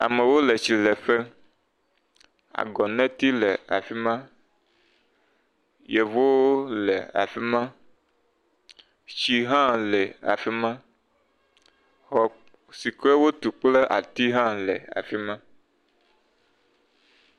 Amewo le tsileƒe. Agɔneti le afi ma Yevowo le afi ma. Tsi hã le afi ma. Xɔ si ke wotu kple ati hã le afi ma.